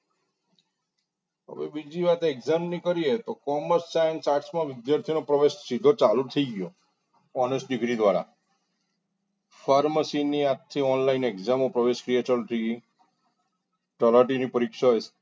હવે બીજી વાત exam ની કરીએ તો commerce science arts માં વિદ્યાર્થી નો પ્રવેશ સીધો ચાલુ થઈ ગયો honest degree દ્વારા pharmacy ની આખી online exam પ્રવેશ ક્રિયા ચાલુ થઈ ગઈ તલાટી ની પરીક્ષા